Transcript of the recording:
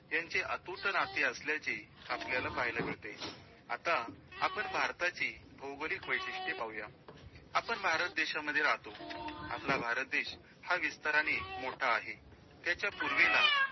यांचे अतूट नाते असल्याचे आपल्याला पाहायला मिळते, आता आपण भारताची भौगोलिक वैशिष्टे पाहूया. आपण भारत देशामध्ये राहतो. आपला भारत देश हा विस्ताराने मोठा आहे, त्याच्या पूर्वेला